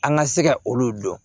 An ka se ka olu dɔn